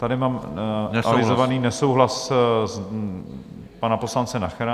Tady mám avizovaný nesouhlas pana poslance Nachera.